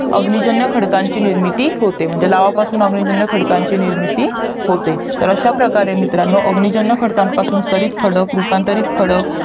अग्निजन्य खडकची निर्मिती होते म्हणजे लावापासून अग्निजन्य खडकची निर्मिती होते तर अश्या प्रकारे मित्रांनो अग्निजन्य खडकपासून स्तरीत खडक रूपांतरित खडक